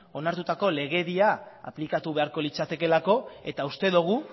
onartutako legedia aplikatu beharko litzatekeelako eta uste dugu